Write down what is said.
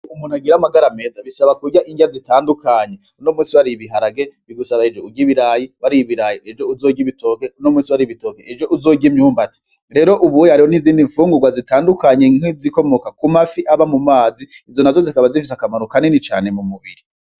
Umuntu agira amagara meza bisaba kurya indya zitandukanye uno musi wariye ibiharage bigusaba ejo urye ibirayi, wariye ibirayi ejo uzorye ibitoke, uno musi wariye ibitoke ejo uzorye imyumbati, rero ubu hariho n'izindi mfungurwa zitandukanye nki zikomoka ku mafi aba mu mazi izo nazo zikaba zifise akamaro kanini cane mu mubiri.